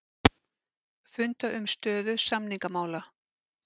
Funda um stöðu samningamála